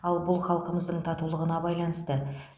ал бұл халқымыздың татулығына байланысты